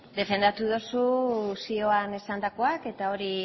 defendatu duzu zioan esandakoak eta hori